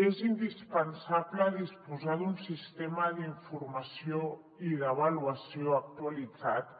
és indispensable disposar d’un sistema d’informació i d’avaluació actualitzat